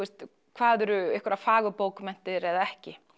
hvað eru einhverjar fagurbókmenntir eða ekki